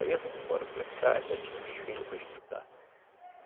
Aí eu vim embora para cá, já tinha uns filhos para estudar.